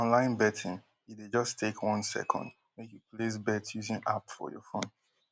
wit online betting e dey just take one second make you place bet using app for your phone